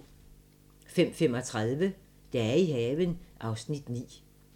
05:35: Dage i haven (Afs. 9)